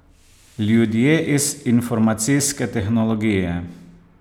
Ljudje iz informacijske tehnologije.